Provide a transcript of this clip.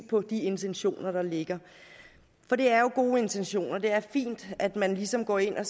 på de intentioner der ligger for det er jo gode intentioner det er fint at man ligesom går ind og